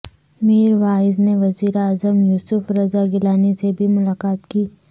میر واعظ نے وزیر اعظم یوسف رضا گیلانی سے بھی ملاقات کی